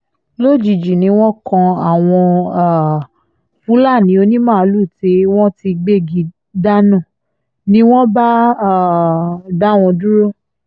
lójijì ni wọ́n kan àwọn um fúlàní onímàálùú tí wọ́n ti gbégi dáná ni wọ́n bá um dá wọn dúró